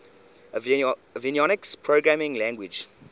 avionics programming language